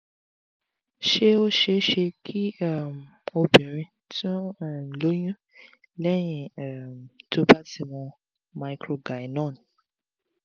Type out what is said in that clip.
ṣé ó ṣeé ṣe kí um obìnrin tun um lóyún lẹ́yìn um tó bá ti mu microgynon?